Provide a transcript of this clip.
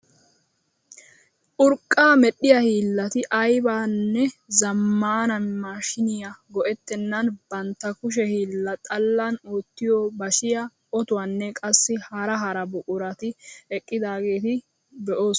Urqqaa medhiyaa hiillati aybanne zammaana maashiniyaa go"ettenan bantta kushe hiilla xallan oottiyoo bashiyaa, otuwaanne qassi hara hara buqurati eqqidaageta be'oos!